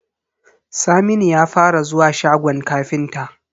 Saminu ya fara zuwa shagon ƙafinta.